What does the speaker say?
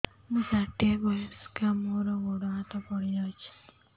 ମୁଁ ଷାଠିଏ ବୟସ୍କା ମୋର ଗୋଡ ହାତ ପଡିଯାଇଛି